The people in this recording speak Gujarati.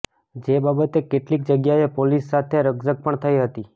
જે બાબતે કેટલીક જગ્યાએ પોલીસ સાથે રકઝક પણ થઈ હતી